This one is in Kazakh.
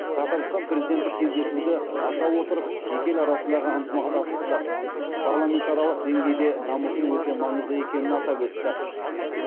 татарстан президенті кездесуді аша отырып екі ел арасындағы ынтымақтастықты парламентаралық деңгейде дамыту өте маңызды екенін атап өтті